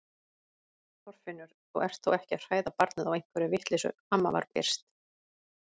Þorfinnur, þú ert þó ekki að hræða barnið á einhverri vitleysu amma var byrst.